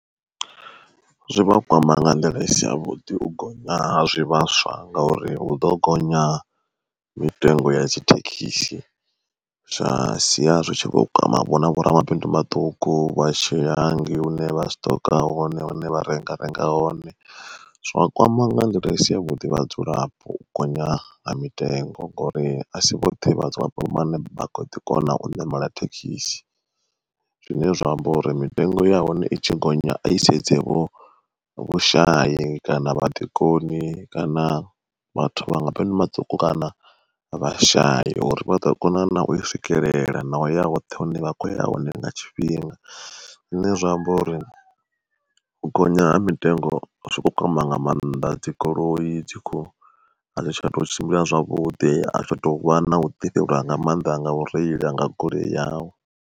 Zwivha kwama nga nḓila i si ya vhuḓi u gonya ha zwivhaswa ngauri hu ḓo gonya mitengo ya dzi thekhisi, zwa sia zwi tshi vho kwama vhona vhoramabindu vhaṱuku vha tshiya hangei hune vha siṱoka hone, hune vha renga renga hone zwa kwama nga nḓila i si ya vhuḓi vhadzulapo u gonya ha mitengo, ngori asi vhoṱhe vhadzulapo vhane vha kho ḓi kona u ṋamela thekhisi. Zwine zwa amba uri mitengo ya hone i tshi gonya a i sedze vho vhushayi kana vha ḓikoni kana vhathu vha mabindu maṱuku kana vha shaya uri vha ḓo kona u iswikelela na u ya hoṱhe hune vha khoya hone nga tshifhinga. Zwine zwa amba uri u gonya ha mitengo zwo kwama nga mannḓa dzigoloi dzi kho adzi tsha tou tshimbila zwavhudi ahu tsha tovha na u ḓi fhelelwa nga maanḓa nga u reila nga goloi yau.